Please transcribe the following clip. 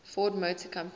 ford motor company